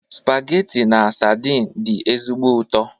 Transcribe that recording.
Spageti na sadin dị ezigbo ụtọ.